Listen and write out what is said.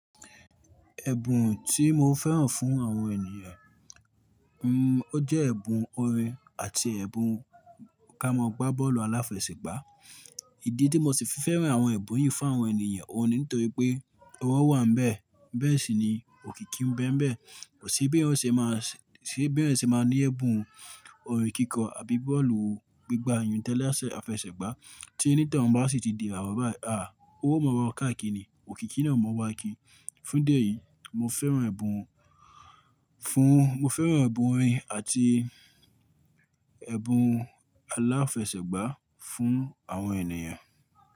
Ẹ̀bùn tí mo fẹ́ràn fún àwọn ènìyàn, mm o jẹ́ ẹ̀bùn orin àti ẹ̀bùn ká mọ gbá bọ́ọ̀lù aláfẹsẹ̀gbá. Ìdí tí mo sì fi fẹ́ràn àwọn ẹ̀bùn yìí fún àwọn ènìyàn, òun nítorí pé ọwọ́ wà níbẹ̀, bẹ́ẹ̀ sì ni òkìkí ń bẹ́ níbẹ̀. Kò sí bí ẹyan ọ̀ṣẹ́ máa ṣẹ́, ṣé bí ẹyan ọ̀ṣẹ́ máa ní ẹ̀bùn orin kíkọ àbí bọ́ọ̀lù gbígba ayùntẹ̀lẹ́ ẹsẹ̀ àfẹsẹ̀gbá tí ẹni tí ọ̀un bá sì ti di ìbàwọ̀ bá a, a ó mọ̀ ọwọ́ káàkiri ni, òkìkí náà mọ̀ wá kiri. Fún idi èyí mo fẹ́ràn ẹbùn fún mo fẹ́ràn ẹ̀bùn orin àti ẹ̀bùn aláfẹsẹ̀gbá fún àwọn ènìyàn.